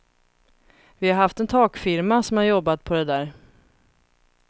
Vi har haft en takfirma som har jobbat på det där.